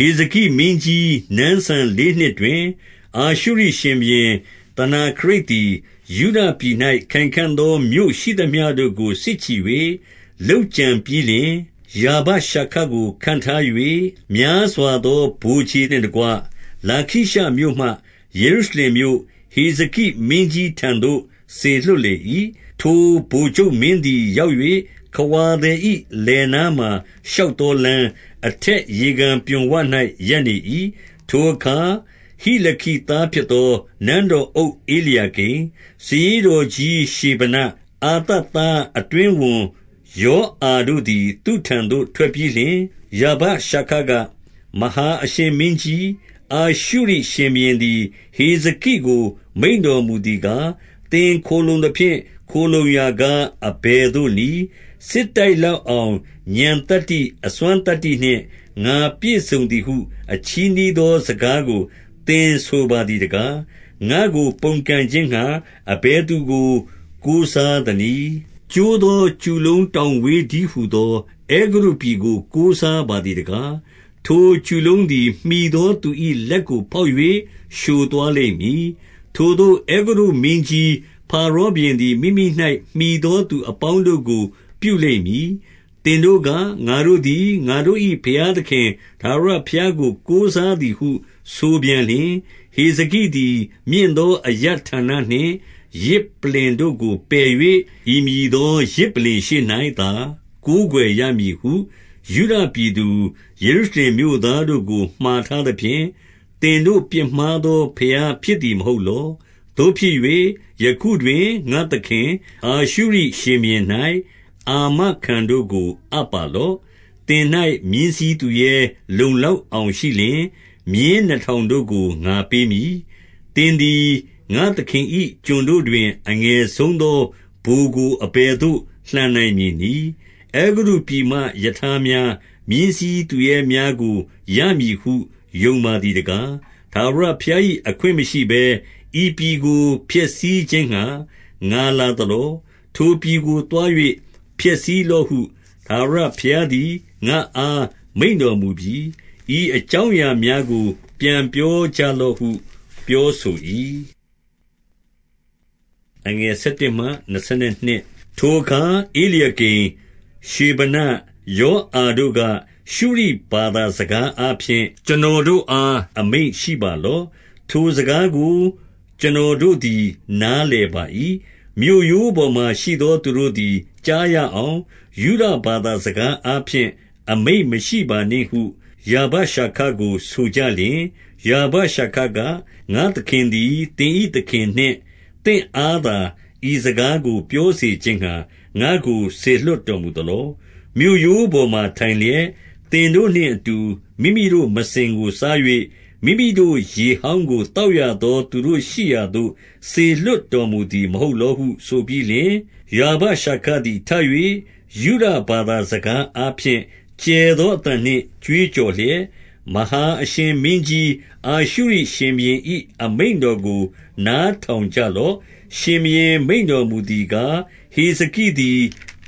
ဟေဇကိမင်းကြီး နန်းစံဆယ်လေးနှစ်တွင် အာ ရှုရိရှင်ဘုရင် သနာခရိပ်သည်၊ ယုဒပြည်၌ခိုင်ခံ့သော မြို့ ရှိသမျှတို့ကို စစ်ချီ၍ လုပ်ကြံပြီးလျှင်၊ 2 ရာဗရှာခကို ခန့်ထား၍ များစွာသော ဗိုလ်ခြေ နှင့်တကွ၊ လာခိရှမြို့မှ ယေရုရှလင်မြို့၊ ဟေဇကိမင်းကြီး ထံသို့ စေလွှတ်လေ၏။ ထိုဗိုလ်ချုပ်မင်းသည် ရောက်၍၊ ခဝါသည်၏ လယ်နားမှာ ရှောက်သောလမ်း၊ အထက်ရေ ကန်ပြွန်ဝ၌ ရပ်နေ၏။ 3 ထိုအခါ ဟိလခိသားဖြစ်သော နန်းတော်အုပ် ဧလျာကိမ်၊ စာရေးတော်ကြီးရှေဗန၊ အာသပ်သားအတွင်း ဝန်ယောအာတို့သည် သူ့ထံသို့ထွက်ပြီးလျှင်၊ 4 ရာဗရှာခက၊ မဟာအရှင်မင်းကြီး၊ အာရှုရိရှင် ဘုရင်သည် ဟေဇကိကို မိန့်တော်မူသည်ကား၊ သင်ခိုလှုံ သဖြင့် ခိုလှုံရာကား အဘယ်သို့နည်း။ 5 စစ်တိုက်လောက်အောင် ဥာဏ်သတ္တိ၊ အစွမ်းသတ္တိနှင့် ငါပြည့်စုံသည်ဟု အချည်းနှီးသောစကားကို သင် ဆိုပါသည်တကား။ ငါ့ကို ပုန်ကန်ခြင်းငှါ အဘယ်သူကို ကိုးစားသနည်း။ 6 ကျိုးသော ကျူလုံးတောင်ဝေးတည်းဟူသော အဲ ဂုတ္တုပြည်ကို ကိုးစားပါသည်တကား။ ထိုကျူလုံးသည် မှီ သောသူ၏ လက်ကိုဖောက်၍ လျှိုသွားလိမ့်မည်။ ထိုသို့ အဲဂုတ္တုမင်းကြီး ဖာရောဘုရင်သည် မိမိ၌မှီသောသူအပေါင်းတို့ကိုပြုလိမ့်မည်။ 7 သင်တို့က၊ ငါတို့သည် ငါတို့၏ ဘုရားသခင် ထာဝရဘုရားကို ကိုးစားသည်ဟု ဆိုပြန်လျှင်၊ ဟေဇကိ သည်မြင့်သောအရပ်ဌာနနှင့် ယဇ်ပလ္လင်တို့ကို ပယ်၍၊ ဤမည်သောယဇ်ပလ္လင်ရှေ့၌သာ ကိုးကွယ်ရမည်ဟု ယုဒ ပြည်သူ၊ ယေရုရှလင်မြို့သားတို့ကို မှာထားသဖြင့်၊ သင် တို့ ပြစ်မှားသော ဘုရားဖြစ်သည်မဟုတ်လော။ 8 သို့ဖြစ်၍၊ ယခုတွင်ငါ့သခင်၊ အာရှုရိရှင်ဘုရင်၌ အာမခံတို့ကို အပ်ပါလော့။ သင်၌မြင်းစီးသူရဲ လုံလောက် အောင်ရှိလျှင်၊ မြင်းနှစ်ထောင်တို့ကို ငါပေးမည်။ 9 သင်သည် ငါ့သခင်၏ ကျွန်တို့တွင် အငယ်ဆုံး သော ဗိုလ်ကို အဘယ်သို့ လှန်နိုင်မည်နည်း။ အဲဂုတ္တုပြည် မှရထားများ၊ မြင်းစီးသူရဲများကိုရမည်ဟု ယုံပါသည်တ ကား။ 10 ထာဝရဘုရား၏ အခွင့်မရှိဘဲ၊ ဤပြည်ကိုဖျက် ဆီးခြင်းငှါ ငါလာသလော။ ထိုပြည်ကိုသွား၍ ဖျက်ဆီး လော့ဟု ထာဝရဘုရားသည် ငါ့အားမိန့်တော်မူပြီ။ ဤအ ကြောင်းအရာများကို ပြန်ပြောကြလော့ဟု ပြောဆို၏။ 11 ထိုအခါဧလျာကိမ်၊ ရှေဗန၊ ယောအာတို့က၊ ရှု ရိဘာသာ စကားအားဖြင့် ကျွန်တော်တို့အား အမိန့်ရှိပါ လော့။ ထိုစကားကို ကျွန်တော်တို့သည် နားလည်ပါ၏။ မြို့ရိုးပေါ်မှာ ရှိသောသူတို့သည် ကြားရအောင်၊ ယုဒ ဘာသာစကားအားဖြင့် အမိန့်မရှိပါနှင့်ဟု ရာဗရှာခကို ဆိုကြလျှင်၊ 12 ရာဗရှာခက၊ ငါ့သခင်သည် သင်၏သခင်နှင့် သင့်အားသာ ဤစကားကို ပြောစေခြင်းငှါ ငါ့ကိုစေလွှတ် တော်မူသလော။ မြို့ရိုးပေါ်မှာ ထိုင်လျက်၊ သင်တို့နှင့်အ တူ မိမိတို့မစင်ကိုစား၍၊ မိမိတို့ရေဟောင်းကို သောက် ရသော သူတို့ရှိရာသို့ စေလွှတ်တော်မူသည် မဟုတ်လော ဟု ဆိုပြီးလျှင်၊ 13 ရာဗရှာခသည် ထ၍ ယုဒဘာသာ စကားအား ဖြင့် ကျယ်သောအသံနှင့် ကြွေးကြော်လျက်၊ မဟာအရှင် မင်းကြီး အာရှုရိ ရှင်ဘုရင်၏ အမိန့်တော်ကို နားထောင် ကြလော့။ 14 ရှင်ဘုရင်မိန့်တော်မူသည်ကား၊ ဟေဇကိသည်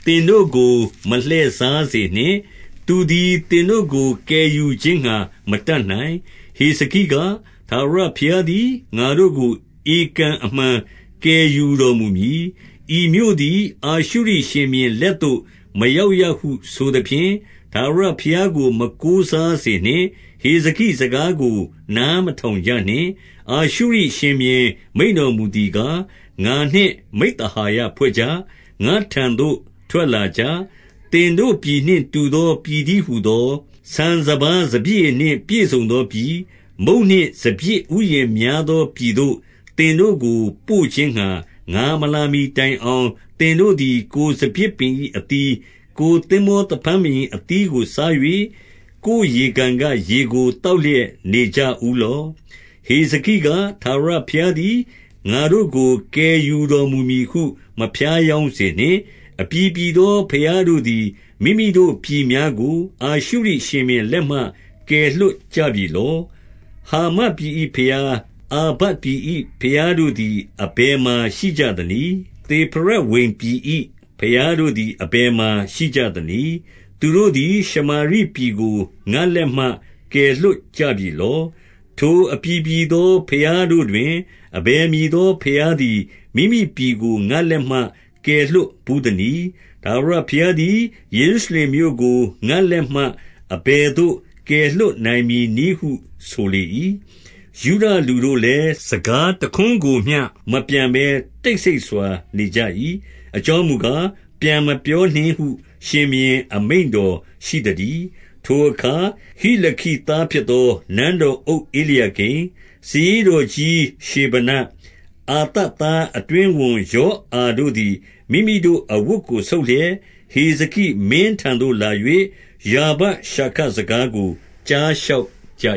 သင်တို့ကို မလှည့်စားစေနှင့်။ သူသည်သင်တို့ကို ကယ်ယူ ခြင်းငှါ မတတ်နိုင်။ 15 ဟေဇကိက၊ ထာဝရဘုရားသည် ငါတို့ကို ဧကန် အမှန်ကယ်ယူတော်မူမည်။ ဤမြို့သည် အာရှုရိရှင် ဘု ရင် လက်သို့ မရောက်ရဟု ဆိုသဖြင့်၊ ထာဝရဘုရားကို မကိုးစားစေနှင့်။ 16 ဟေဇကိစကားကို နားမထောင်ကြနှင့်။ အာရှုရိ ရှင်ဘုရင် မိန့်တော်မူသည်ကား၊ ငါနှင့် မိဿဟာယဖွဲ့ကြ။ငါ့ထံသို့ ထွက်လာကြ။ 17 သင်တို့ပြည်နှင့် တူသောပြည်တည်း ဟူသော၊ ဆန်စပါးစပျစ်ရည်နှင့် ပြည့်စုံသောပြည်၊ မုန့်နှင့် စပျစ်ဥယျာဉ်များသောပြည်သို့၊ သင်တို့ကို ပို့ခြင်းငှါ ငါမ လာမှီတိုင်အောင်၊ သင်တို့သည် ကိုယ်စပျစ်ပင်၏အသီး၊ ကိုယ်သင်္ဘောသဖန်းပင်၏ အသီးကို စား၍၊ ကိုယ်ရေကန် ကရေကို သောက်လျက်နေကြဦးလော့။ 18 ဟေဇကိက၊ ထာဝရဘုရားသည် ငါတို့ကို ကယ် ယူတော်မူမည်ဟု မဖြားယောင်းစေနှင့်။ အပြည်ပြည် သောဘုရားတို့သည် မိမိတို့ပြည်များကို အာရှုရိရှင်ဘုရင် လက်မှ ကယ်လွှတ်ကြပြီလော။ 19 ဟာမတ်ပြည်၏ ဘုရား၊ အာပဒ်ပြည်၏ဘုရား တို့သည် အဘယ်မှာရှိကြသနည်း။ သေဖရဝိမ်ပြည်၏ ဘုရားတို့သည် အဘယ်မှာရှိကြသနည်း။ သူတို့သည် ရှ မာရိပြည်ကို ငါ့လက်မှ ကယ်လွှတ်ကြပြီလော။ 20 ထိုအပြည်ပြည်သော ဘုရားတို့တွင်၊ အဘယ် မည်သော ဘုရားသည် မိမိပြည်ကို ငါ့လက်မှကယ်လွှတ် ဘူးသနည်း။ ထာဝရဘုရားသည် ယေရုရှလင်မြို့ကို ငါ့ လက်မှ အဘယ်သို့ ကယ်လွှတ်နိုင်မည်နည်းဟု ဆိုလေ၏။ 21 ယုဒလူတို့လည်း၊ စကားတခွန်းကိုမျှမပြန်ဘဲ တိတ်ဆိတ်စွာ နေကြ၏။ အကြောင်းမူကား၊ ပြန်မပြော နှင့်ဟု ရှင်ဘုရင် အမိန့်တော်ရှိသတည်း။ 22 ထိုအခါ ဟိလခိသားဖြစ်သော နန်းတော်အုပ်ဧ လျာကိမ်၊ စာရေးတော်ကြီး ရှေ့ဗန၊ အာသပ်သားအတွင်း ဝန်ယောအာတို့သည် မိမိတို့အဝတ်ကိုဆုတ်လျက်၊ ဟေဇ ကိမင်းထံသို့လာ၍၊ ရာဗရှာခ စကားကို ကြားလျှောက် ကြ